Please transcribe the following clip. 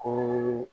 Ko